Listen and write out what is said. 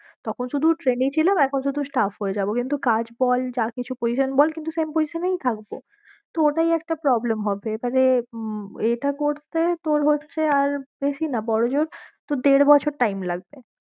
তখন শুধু trainee ছিলাম এখন শুধু staff হয়ে যাবো কিন্তু কাজ বল যা কিছু position বল কিন্তু same position এই থাকবো তো ওটাই একটা problem হবে এবারে উম এটা করতে তোর হচ্ছে আর বেশি না বরো জোর তোর দেড় বছর time লাগবে।